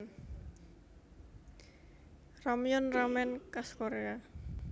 Ramyeon ramen khas Korea